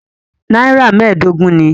Nàírà mẹ́ẹ̀dógún ni.